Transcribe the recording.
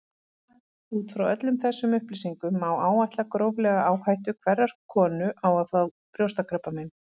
Út frá öllum þessum upplýsingum má áætla gróflega áhættu hverrar konu á að fá brjóstakrabbamein.